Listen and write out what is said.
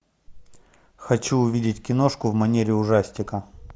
хочу увидеть киношку в манере ужастика